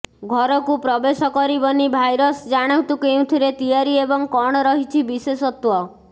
ଘରକୁ ପ୍ରବେଶ କରିବନି ଭାଇରସ ଜାଣନ୍ତୁ କେଉଁଥିରେ ତିଆରି ଏବଂ କଣ ରହିଛି ବିଶେଷତ୍ୱ